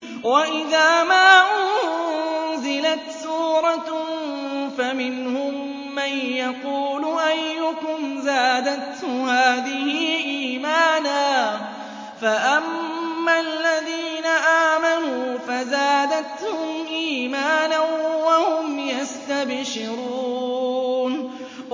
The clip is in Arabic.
وَإِذَا مَا أُنزِلَتْ سُورَةٌ فَمِنْهُم مَّن يَقُولُ أَيُّكُمْ زَادَتْهُ هَٰذِهِ إِيمَانًا ۚ فَأَمَّا الَّذِينَ آمَنُوا فَزَادَتْهُمْ إِيمَانًا وَهُمْ يَسْتَبْشِرُونَ